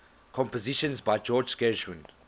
compositions by george gershwin